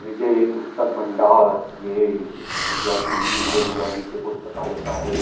विजय पुस्तक भण्डार ये भैया जी विजय भैया जी की पुस्तकालय का है।